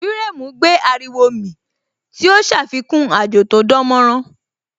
Firemu gbé ariwo mì tí ó ṣàfikún àjò tó dánmọ́nrán